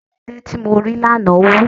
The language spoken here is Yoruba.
Ọwọ́ ọmọdé tí mo rí lánàá wú.